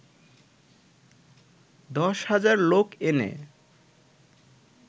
দশ হাজার লোক এনে